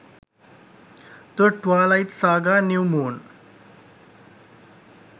the twilight saga: new moon